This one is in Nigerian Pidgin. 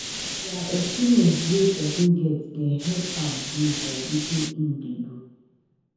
Na di experience wey pesin get dey help am grow for wetin im dey do.